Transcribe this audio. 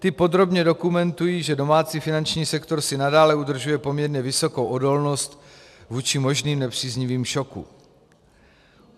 Ty podrobně dokumentují, že domácí finanční sektor si nadále udržuje poměrně vysokou odolnost vůči možným nepříznivým šokům.